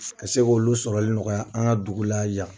Ka se k' olu sɔrɔl nɔgɔya an ka dugu la yan